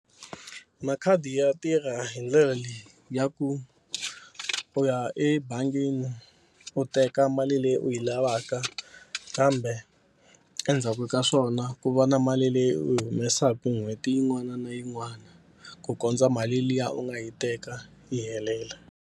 Makhadi ya tirha hi ndlela leyi ya ku u ya ebangini u teka mali leyi u yi lavaka kambe endzhaku ka swona ku va na mali leyi u yi humesaku n'hweti yin'wana na yin'wana ku kondza mali liya u nga yi teka yi helela.